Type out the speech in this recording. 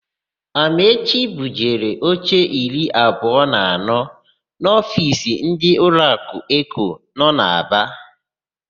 Amaechi bujere oche iri abụọ na anọ n'ofiisi ndị ụlọakụ Eko nọ n'Aba.